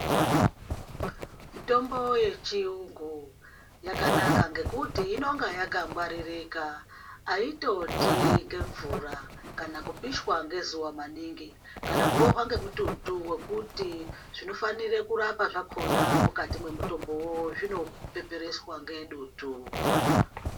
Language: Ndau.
Mitombo yechiyungu yakanaka ngokuti inenge yakangwaririka aitoti nemvura kana kupishwa ngezuva maningi kana kurowa ngomututu wokuti zvinofanire kurapa zvakona mwukati mwemutombo iwowowo zvinopepereswa ngedutu.